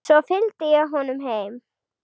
Svo fylgdi ég honum heim.